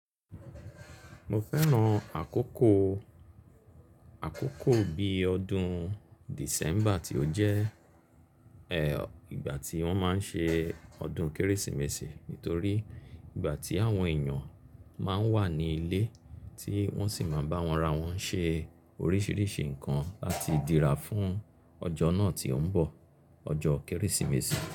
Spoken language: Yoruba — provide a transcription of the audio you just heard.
Mo fẹ́ràn àkókò, àkókò bíi ọdún December tí ó jẹ́, ẹ, ìgbà tí wọ́n máa ń ṣe ọdún Kérésìmesì nítorí ìgbà tí àwọn èèyàn máa ń wà ní ilé tí wọ́n sì máa bá ara wọn ṣe oríṣiríṣi nǹkan láti dira fún ọjọ́ náà tí ó ń bọ̀, ọjọ́ Kérésìmesì.